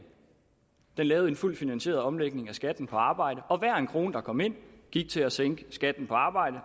lavede en fuldt finansieret omlægning af skatten på arbejde og hver en krone der kom ind gik til at sænke skatten på arbejde